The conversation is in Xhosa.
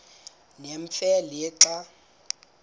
nemfe le xa